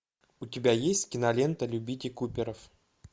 у тебя есть кинолента любите куперов